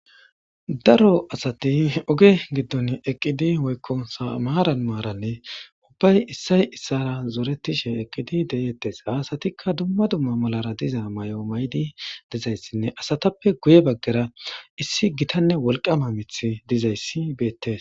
Daro asati oge giddon eqqidi woykko samaara maaranne ubbay issay issara zoretishe eqqidi deyettes haasatikka dumma dumma malara diza may'o maydi dizayssinne asatappe guye baggera issi gitanne wolqama mith dizayssi beettes.